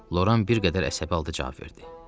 Loran bir qədər əsəbi halda cavab verdi.